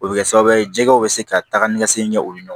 O bɛ kɛ sababu ye jɛgɛw bɛ se ka taga ni ka segin ɲɛ o ɲɛ